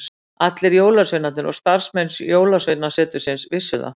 Allir jólasveinarnir og starfsmenn jólasveinasetursins vissu það.